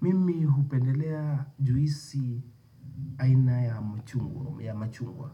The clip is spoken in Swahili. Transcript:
Mimi hupendelea juisi aina ya machungwa.